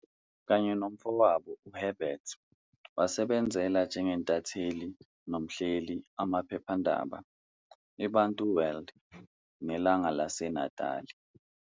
Kanye nomfowabo uHerbert, wasebenzela njengentatheli nomhleli amaphephandaba "i-Bantu World" ne"Langa laseNatali".